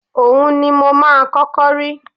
Ohun ni mo máa kọ́kọ́ rí